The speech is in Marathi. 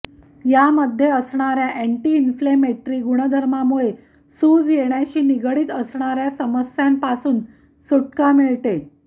यामध्ये असणाऱ्या अँटिइन्फ्लेमेटरी गुणधर्मांमुळे सूज येण्याशी निगडीत असणाऱ्या समस्यांपासून सुटका मिळते